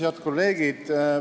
Head kolleegid!